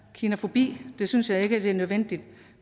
kinafobi det synes jeg ikke er nødvendigt